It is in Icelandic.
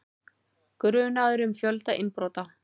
Grunaður um fjölda innbrota